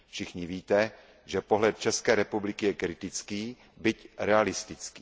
Všichni víte, že pohled České republiky je kritický, byť realistický.